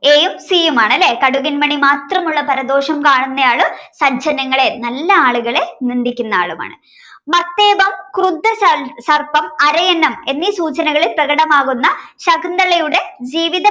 a യും c യുമാണല്ലെ കടുകുമണി മാത്രമുള്ള പരദോഷം കാണുന്നയാള് സജ്ജനങ്ങളെ നല്ല ആളുകളെ നിന്ദിക്കുന്ന ആളുമാണ് മത്തേപം ക്രുദ്ധ ചൽസർപ്പം അരയന്നം എന്നീ സൂചനകളിൽ പ്രകടമാകുന്ന ശകുന്തളയുടെ ജീവിത